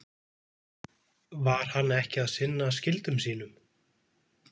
Var hann ekki að sinna skyldum sínum?